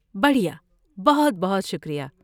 بڑھیا! بہت بہت شکریہ۔